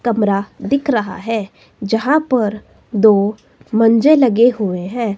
कमरा दिख रहा है जहां पर दो मंजे लगे हुए हैं।